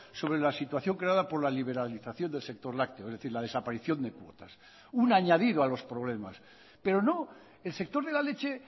sobre la situación creada por la liberalización del sector lácteo es decir la desaparición de cuotas un añadido a los problemas pero no el sector de la leche